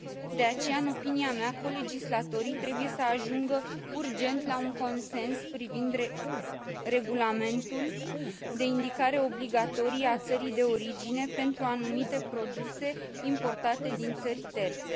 De aceea, în opinia mea, colegislatorii trebuie să ajungă urgent la un consens privind regulamentul de indicare obligatorie a țării de origine pentru anumite produse importate din țări terțe.